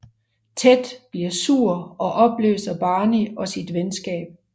Ted bliver sur og opløser Barney og sit venskab